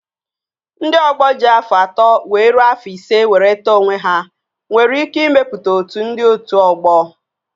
Ndị ọgbọ ji afọ atọ wee rue afọ ise were tọọ onwe ha nwere ike ịmepụta otu ndị otu ọgbọ